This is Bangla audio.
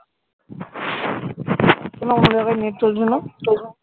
কেন অন্য জায়গায় net চলছে না?